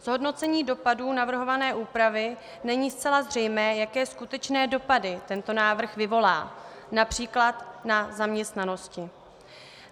Z hodnocení dopadů navrhované úpravy není zcela zřejmé, jaké skutečné dopady tento návrh vyvolá například na zaměstnanosti.